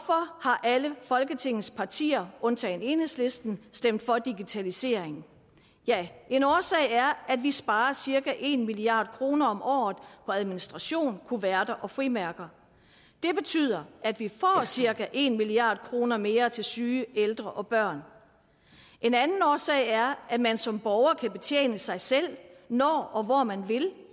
har alle folketingets partier undtagen enhedslisten stemt for digitaliseringen ja en årsag er at vi sparer cirka en milliard kroner om året på administration kuverter og frimærker det betyder at vi får cirka en milliard kroner mere til syge ældre og børn en anden årsag er at man som borger kan betjene sig selv når og hvor man vil